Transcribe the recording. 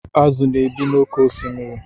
Azụ na-ebi n'oké osimiri.